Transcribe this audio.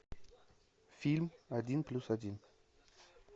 фильм один плюс один